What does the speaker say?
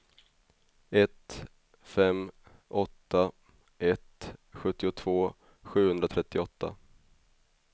ett fem åtta ett sjuttiotvå sjuhundratrettioåtta